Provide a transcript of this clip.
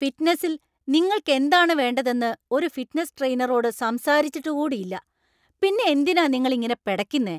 ഫിറ്റ്നസിൽ നിങ്ങൾക്ക് എന്താണ് വേണ്ടതെന്ന് ഒരു ഫിറ്റ്നസ് ട്രെയിനറോട് സംസാരിച്ചിട്ടു കൂടി ഇല്ല ,പിന്നെ എന്തിനാ നിങ്ങൾ ഇങ്ങനെ പെടയ്ക്കുന്നെ?